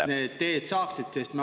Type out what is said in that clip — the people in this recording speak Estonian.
… et need teed saaksid?